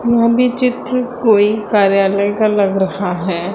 यहां भी चित्र कोई कार्यालय का लग रहा है।